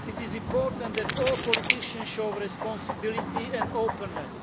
It is important that all politicians show responsibility and openness.